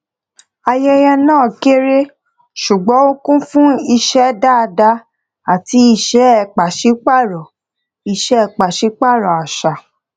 ayẹyẹ náà kéré ṣùgbón ó kún fún ìṣe dáadáa àti ìṣe pàsípàrọ ìṣe pàsípàrọ àṣà